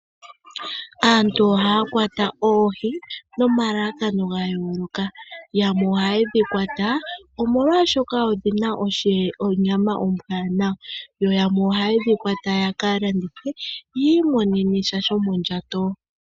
Aantu ohaa kwata oohi nomalalakano gayooloka. yamwe ohaye dhi kwata omolwashoka odhina onyama ombwanawa, yo yamwe ohaye dhi kwata ya kalandithe yii monene sha sho mondjato.